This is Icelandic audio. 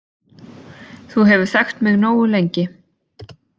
Þú hefur þekkt mig nógu lengi